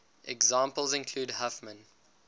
examples include huffman